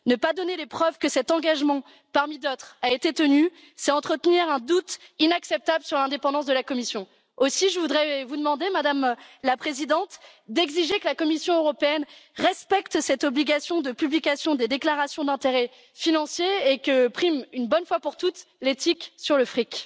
Ne pas donner les preuves que cet engagement, parmi d'autres, a été tenu, c'est entretenir un doute inacceptable sur l'indépendance de la Commission. Aussi, je voudrais vous demander, Madame la Présidente, d'exiger que la Commission européenne respecte cette obligation de publication des déclarations d'intérêts financiers et que prime, une bonne fois pour toutes, l'éthique sur le fric.